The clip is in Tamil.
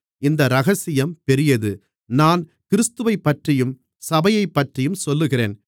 இந்த இரகசியம் பெரியது நான் கிறிஸ்துவைப்பற்றியும் சபையைப்பற்றியும் சொல்லுகிறேன்